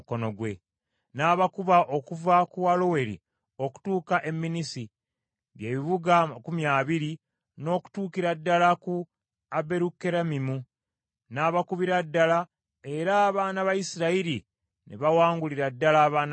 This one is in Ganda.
N’abakuba okuva ku Aloweri okutuuka e Minnisi, bye bibuga amakumi abiri, n’okutuukira ddala ku Aberukeramimu; n’abakubira ddala era abaana ba Isirayiri ne bawangulira ddala abaana ba Amoni.